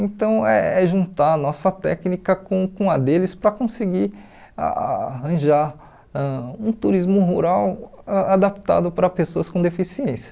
Então é juntar a nossa técnica com com a deles para conseguir a arranjar ãh um turismo rural a adaptado para pessoas com deficiência.